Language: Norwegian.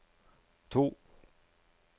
to